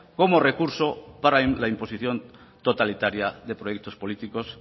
como recurso para la imposición totalitaria de proyectos políticos